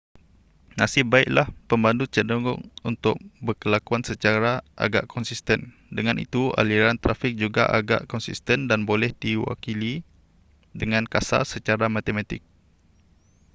nasib baiklah pemandu cenderung untuk berkelakuan secara agak konsisten dengan itu aliran trafik juga agak konsisten dan boleh diwakili dengan kasar secara matematik